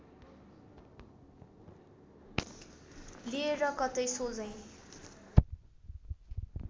लिएर कतै सोझै